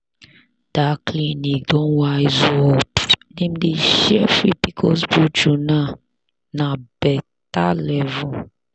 that clinic don wise up dem dey share free pcos brochure now. na better level.